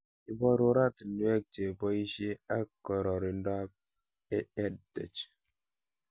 Iparu oratinwek che poishe ak kororindop EdTech